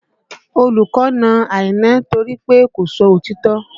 Olùkọ́ na Àìná nítorí pé kò sọ òtítọ́